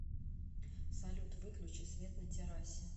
салют выключи свет на террасе